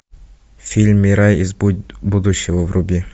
фильм мирай из будущего вруби